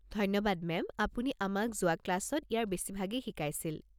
ধন্যবাদ, মেম, আপুনি আমাক যোৱা ক্লাছত ইয়াৰ বেছিভাগেই শিকাইছিল।